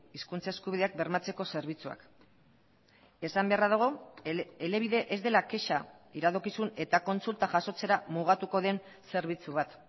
hizkuntza eskubideak bermatzeko zerbitzuak esan beharra dago elebide ez dela kexa iradokizun eta kontsulta jasotzera mugatuko den zerbitzu bat